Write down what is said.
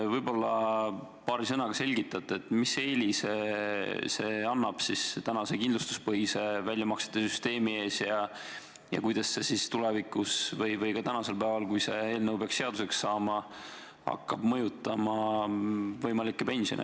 Võib-olla selgitate paari sõnaga, mis eelise see annab tänase kindlustuspõhise väljamaksete süsteemi ees ja kuidas see tulevikus või ka tänasel päeval – juhul, kui see eelnõu peaks seaduseks saama – hakkab mõjutama võimalikke pensione.